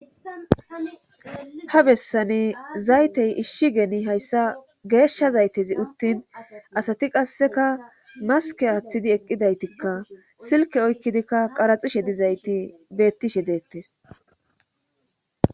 Ha bessane zaytey ishshi geni hayssa geeshsha zaytezi uttin asati qasseka maske aaththidi eqqidaytikka silke oykkidikka qaraxishe dizayti bettishe deettes.